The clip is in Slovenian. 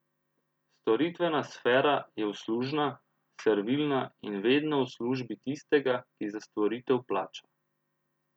Storitvena sfera je uslužna, servilna in vedno v službi tistega, ki za storitev plača.